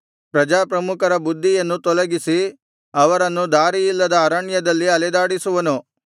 ಪ್ರಜಾಪ್ರಮುಖರ ಬುದ್ಧಿಯನ್ನು ತೊಲಗಿಸಿ ಅವರನ್ನು ದಾರಿಯಿಲ್ಲದ ಅರಣ್ಯದಲ್ಲಿ ಅಲೆದಾಡಿಸುವನು